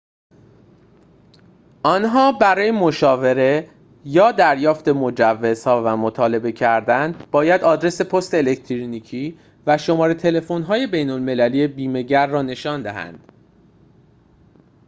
آن‌ها برای مشاوره/دریافت مجوزها و مطالبه کردن باید آدرس پست الکترونیکی و شماره تلفن‌های بین‌المللی بیمه‌گر را نشان دهند